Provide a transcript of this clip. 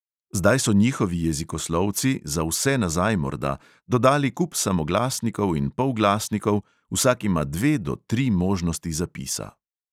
Zdaj so njihovi jezikoslovci, za vse nazaj morda, dodali kup samoglasnikov in polglasnikov, vsak ima dve do tri možnosti zapisa.